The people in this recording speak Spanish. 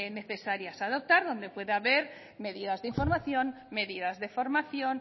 necesarias a adoptar donde puede haber medidas de información medidas de formación